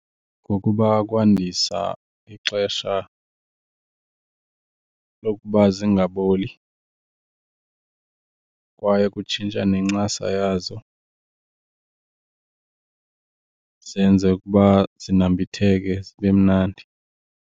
Ngokuba kwandisa ixesha lokuba zingaboli kwaye kutshintsha nencasa yazo zenze ukuba zinambitheke zibe mnandi.